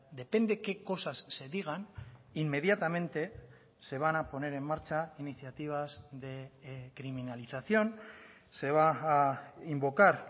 depende que cosas se digan inmediatamente se van a poner en marcha iniciativas de criminalización se va a invocar